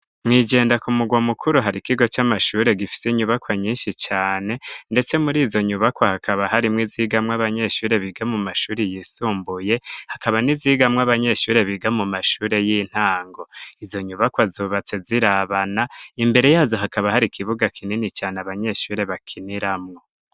Mwijenda ku mugwa mukuru hari kigo c'amashure gifise inyubakwa nyinshi cane ndetse murizo nyubakwa hakaba harimwo izigamwo abanyeshure biga mu mashure yisumbuye hakaba n'izigamw'abanyeshure biga mu mashure y'intango, izo nyubakwa zubatse zirabana imbere yazo hakaba hari ikibuga kinini cane abanyeshure bakiniramwo.